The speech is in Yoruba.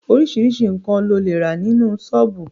Oríṣiríṣi nkan ni o le rà nínú sọ́ọ́bù